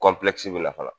fana